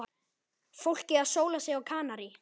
Fólkið að sóla sig á Kanarí.